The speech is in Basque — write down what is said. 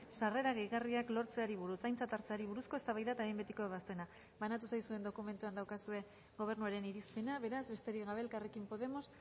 sarrera gehigarriak lortzeari buruz aintzat hartzeari buruzko eztabaida eta behin betiko ebazpena banatu zaizuen dokumentuan daukazue gobernuaren irizpena beraz besterik gabe elkarrekin podemos